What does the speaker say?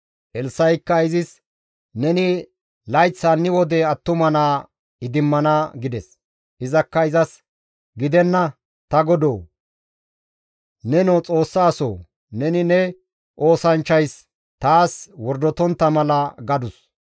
Elssa7ikka izis, «Neni layth hanni wode attuma naa idimmana» gides. Izakka izas, «Gidenna ta godoo! Nenoo Xoossa asoo! Neni ne oosanchchays taas wordotontta mala» gadus.